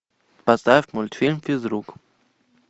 поставь мультфильм физрук